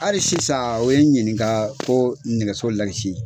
Hali sisan u ye ɲininka ko nɛgɛso lakisi